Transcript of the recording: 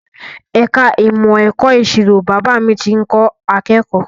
Ẹ̀ka ìmọ̀ ẹ̀kọ́ ìṣirò Bàbá mi tí ń kọ́ akẹ́kọ̀ọ́